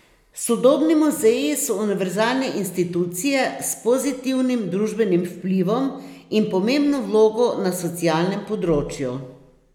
Sodobni muzeji so univerzalne institucije s pozitivnim družbenim vplivom in pomembno vlogo na socialnem področju.